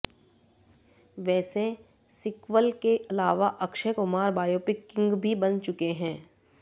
वैसे सीक्वल के अलावा अक्षय कुमार बायोपिक किंग भी बन चुके हैं